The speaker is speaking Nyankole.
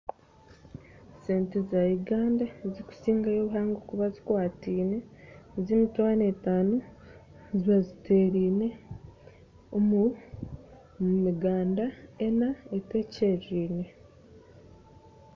Sente za Uganda ezikusingayo obuhango kuba zikwatine z'emitwaro etano zibaziterine omumiganda enna etwekyererine.